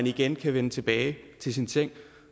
igen kan vende tilbage til sin seng og